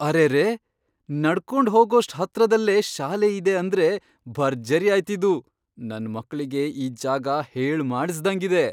ಅರೆರೇ! ನಡ್ಕೊಂಡ್ ಹೋಗೋಷ್ಟ್ ಹತ್ರದಲ್ಲೇ ಶಾಲೆ ಇದೆ ಅಂದ್ರೆ ಭರ್ಜರಿ ಆಯ್ತಿದು! ನನ್ ಮಕ್ಳಿಗೆ ಈ ಜಾಗ ಹೇಳ್ ಮಾಡಿಸ್ದಂಗಿದೆ.